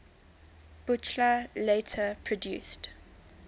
buchla later produced